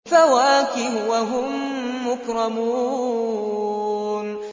فَوَاكِهُ ۖ وَهُم مُّكْرَمُونَ